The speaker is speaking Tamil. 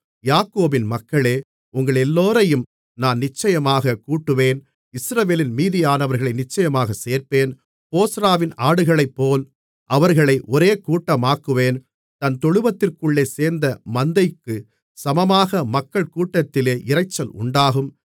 யாக்கோபின் மக்களே உங்களெல்லோரையும் நான் நிச்சயமாகக் கூட்டுவேன் இஸ்ரவேலின் மீதியானவர்களை நிச்சயமாகச் சேர்ப்பேன் போஸ்றாவின் ஆடுகளைப்போல் அவர்களை ஒரே கூட்டமாக்குவேன் தன் தொழுவத்திற்குள்ளே சேர்ந்த மந்தைக்குச் சமமாக மக்கள் கூட்டத்தினாலே இரைச்சல் உண்டாகும்